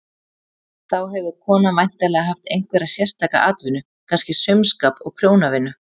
Þá hefur konan væntanlega haft einhverja sérstaka atvinnu, kannski saumaskap og prjónavinnu.